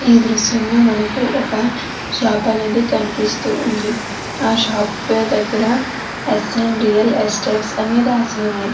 ఈ దృశ్యంలో మనకు ఒక షాప్ అనేది కనిపిస్తుంది. ఆ షాప్ దగ్గర ఎస్. ఎన్ రియల్ ఎస్టేట్స్ అని రాసి ఉంది.